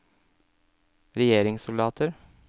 regjeringssoldater